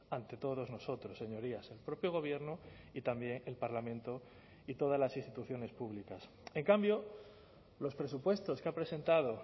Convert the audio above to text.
ante todos nosotros señorías el propio gobierno y también el parlamento y todas las instituciones públicas en cambio los presupuestos que ha presentado